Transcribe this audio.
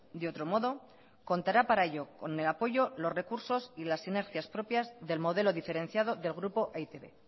de otro modo contará para ello con el apoyo los recursos y las sinergias propias del modelo diferenciado del grupo e i te be